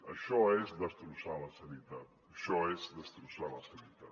això és destrossar la sanitat això és destrossar la sanitat